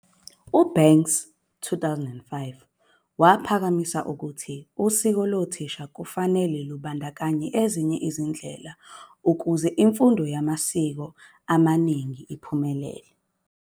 U-Banks 2005 uphakamise ukuthi usiko lo thisha kufanele, lubandakanye ezinye izindlela ukuze imfundo yamasiko amaningi iphumelele.